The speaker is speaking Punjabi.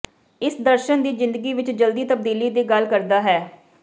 ਇਸ ਦਰਸ਼ਣ ਦੀ ਜ਼ਿੰਦਗੀ ਵਿਚ ਜਲਦੀ ਤਬਦੀਲੀ ਦੀ ਗੱਲ ਕਰਦਾ ਹੈ